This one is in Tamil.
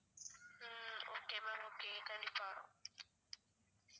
ஹம் okay ma'am okay கண்டிப்பா